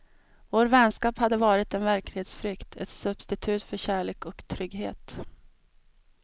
Vår vänskap hade varit en verklighetsflykt, ett substitut för kärlek och trygghet.